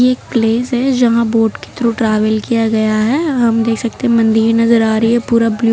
एक प्लेस है जहां बोट के थ्रू ट्रैवल किया गया है हम देख सकते हैं मंदिर नजर आ रही है पूरा ब्लू --